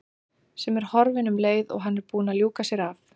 Sem er horfin um leið og hann er búinn að ljúka sér af.